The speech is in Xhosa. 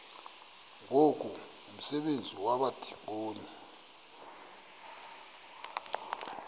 ngoku umsebenzi wabadikoni